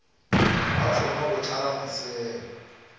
ba thoma go tlala maseme